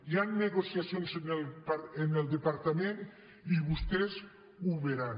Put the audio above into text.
hi han negociacions en el departament i vostès ho veuran